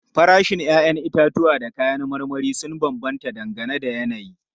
Farashin 'ya'yan itatuwa da kayan marmari sun bambanta dangane da yanayi.